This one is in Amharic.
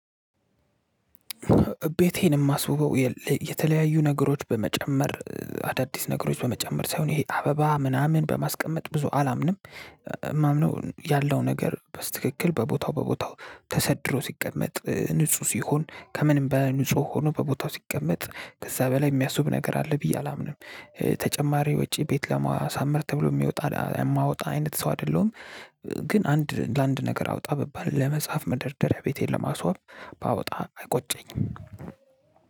ቤቴን የማስውበው የተለያዩ ነገሮች በመጨመር አዳዲስ ነገሮች በመጨመር ሳይሆን ይሄ አበባ ምናምን በማስቀመጥ ብዙ አላምንም። የማምነው ያለው ነገር በትክክል በቦታው በቦታው ተሰድሮ ሲቀመጥ ንጹህ ሲሆን ከምንም በንጹህ ሆኖ በቦታው ሲቀመጥ ከዛ በላይ የሚያስውብ ነገር አለ ብዬ አላምንም። ተጨማሪ ወጪ ቤት ለማሳመር ተብሎ የሚወጣ የማወጣ አይነት ሰው አይደለሁም። ግን አንድ ለአንድ ነገር አውጣ ብባል ለመጽሐፍ መደርደሪያ ቤቴን ለማስዋብ ባወጣ አይቆጨኝም።